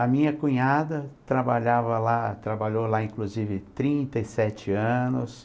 A minha cunhada trabalhava lá, trabalhou lá inclusive trinta e sete anos.